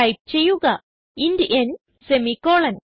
type ചെയ്യുക int n semicolon